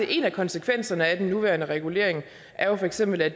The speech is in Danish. en af konsekvenserne af den nuværende regulering for eksempel er